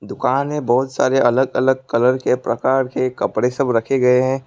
दुकान में बहुत सारे अलग अलग कलर के प्रकार के कपड़े सब रखे गए हैं।